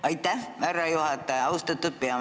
Aitäh, härra juhataja!